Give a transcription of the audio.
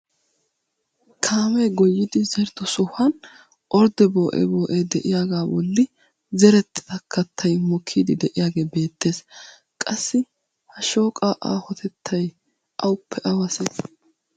Kaamee goyyidi zerido sohuwan ordee boo'ee boo'ee de'iyaagaa bolli zerettida kattay mokkidi de'iyaagee beettees. qassi ha shooqaa aahotettay awuppe awasee?